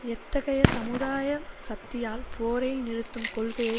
எத்தகைய சமுதாய சக்தியால் போரை நிறுத்தும் கொள்கையை